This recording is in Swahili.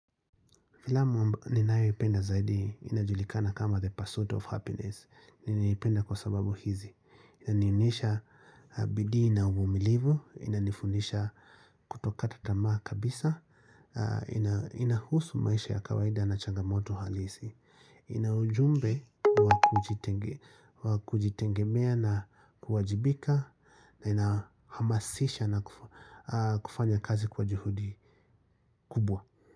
Vila mwamba ninao ipenda zaidi inajulikana kama the pursuit of happiness Ninaipenda kwa sababu hizi Inanionyesha bidii na uvumilivu Inanifundisha kutokata tamaa kabisa inahusu maisha ya kawaida na changamoto halisi Inaujumbe wakujitengemea na kuwajibika na inahamasisha na kufanya kazi kwa juhudi kubwa.